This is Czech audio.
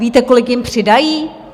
Víte, kolik jim přidají?